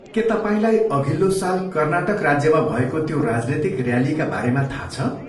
के तपाईँलाई अघिल्लो साल कर्नाटक राज्यमा भएको त्यो राजनीतिक ऱ्यालीका बारेमा थाहा छ?